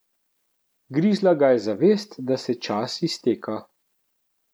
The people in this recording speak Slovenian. Grizla ga je zavest, da se čas izteka.